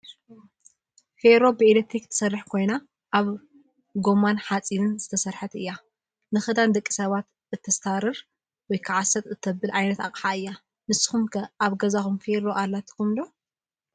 ፌሮ ብኤሌክትሪክ ትሰርሕ ኮይና ካብ ጎማን ሓፂንን ዝተሰረሓት እያ። ንክዳን ደቂ ሰባት እተስታርር /ሰጥ/ ተብል ዓይነት ኣቃሓ እያ። ንስኩም ከ ኣብ ገዛኩም ፊሮ ኣላትኩም ዶ?